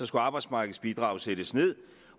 skulle arbejdsmarkedsbidraget sættes nederst